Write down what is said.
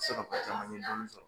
Se ka ko caman ye dɔɔnin sɔrɔ